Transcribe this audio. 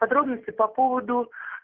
подробности по поводу